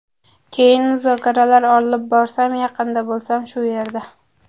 Keyin muzokaralar olib borasan, yaqinda bo‘lasan, shu yerda”.